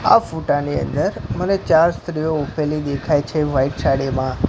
આ ફોટા ની અંદર મને ચાર સ્ત્રીઓ ઉભેલી દેખાય છે વ્હાઇટ સાડીમા.